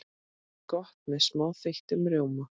Gott með smá þeyttum rjóma.